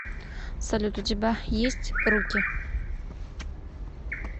салют у тебя есть руки